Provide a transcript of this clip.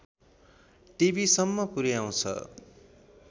टिभिसम्म पुर्‍याउँछ